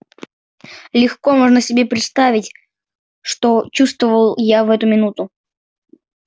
легко можно себе представить что чувствовал я в эту минуту